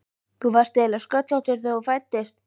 Þú varst eiginlega sköllóttur þegar þú fæddist.